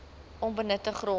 onbenutte grond